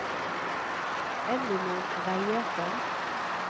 Ellinor Reiersen